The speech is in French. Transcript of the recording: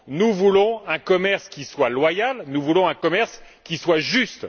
Nous voulons un commerce qui soit loyal, nous voulons un commerce qui soit juste.